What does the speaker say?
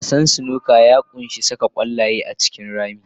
Wasan snooker ya ƙunshi saka ƙwallaye a cikin rami.